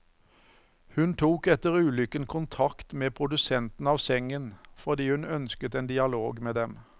Hun tok etter ulykken kontakt med produsenten av sengen, fordi hun ønsket en dialog med dem.